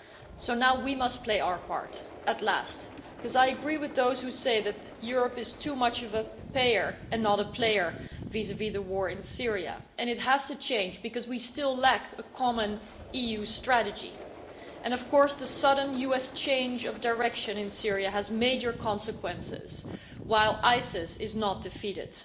So now we must play our part, at last, because I agree with those who say that Europe is too much of a payer and not a player vis vis the war in Syria, and it has to change, because we still lack a common EU strategy. And of course the sudden US change of direction in Syria has major consequences while ISIS is not defeated.